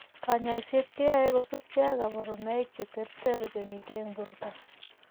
Kanyoiset keyoe kosubkei ak kaborunoik cheterter chemitei eng' borto